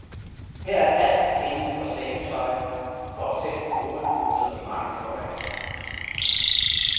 Her er alt indenfor sengetøj, for eksempel hovedpuder i mange formater.